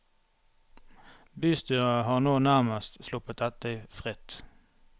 Bystyret har nå nærmest sluppet dette fritt.